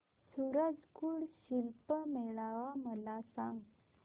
सूरज कुंड शिल्प मेळावा मला सांग